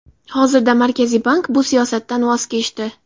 Hozirda Markaziy bank bu siyosatdan voz kechdi.